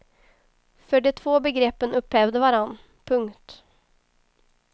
För de två begreppen upphävde varandra. punkt